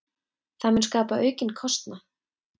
Það mun skapa aukinn kostnað.